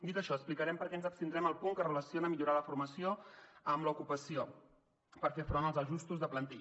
dit això explicarem per què ens abstindrem al punt que relaciona millorar la formació amb l’ocupació per fer front als ajustos de plantilla